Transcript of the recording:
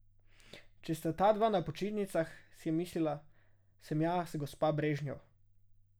Če sta tadva na počitnicah, si je mislila, sem jaz gospa Brežnjev.